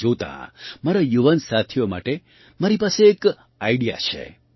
તેને જોતાં મારા યુવાન સાથીઓ માટે મારી પાસે એક આઇડિયા છે